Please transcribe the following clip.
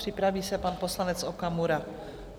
Připraví se pan poslanec Okamura.